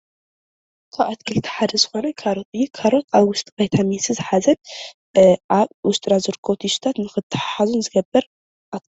ካብ ኣትክልቲ ሓደ ዝኮነ ካሮት እዩ:: ካሮት ኣብ ውሽጢ ቫይታሚን ሲ ዝሓዘ ኣብ ውሽጥና ዝረከቡ ቱሽታት ንክትሓሓዙን ዝገብር እዩ።